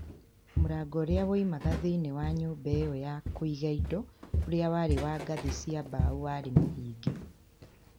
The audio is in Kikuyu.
Mũrango ũrĩa woimaga thĩinĩ wa nyũmba ĩyo ya kũiga indo ũrĩa warĩ wa ngathĩ cia mbaũ warĩ mũhinge.